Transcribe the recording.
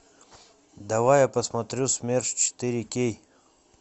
давай я посмотрю смерч четыре кей